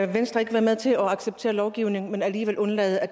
venstre ikke være med til at acceptere lovgivningen men alligevel undlade at